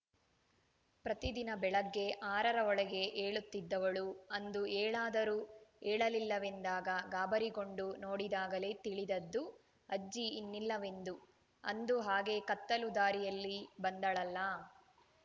ಪ್ರತಿದಿನ ಬೆಳಗ್ಗೆ ಆರರ ಒಳಗೆ ಏಳುತ್ತಿದ್ದವಳು ಅಂದು ಏಳಾದರೂ ಏಳಲಿಲ್ಲವೆಂದಾಗ ಗಾಬರಿಗೊಂಡು ನೋಡಿದಾಗಲೇ ತಿಳಿದದ್ದು ಅಜ್ಜಿ ಇನ್ನಿಲ್ಲವೆಂದು ಅಂದು ಹಾಗೆ ಕತ್ತಲು ದಾರಿಯಲ್ಲಿ ಬಂದಳಲ್ಲಾ